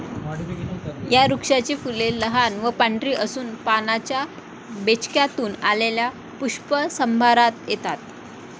या वृक्षाची फुले लहान व पांढरी असून पानांच्या बेचक्यातून आलेल्या पुष्पसंभारात येतात.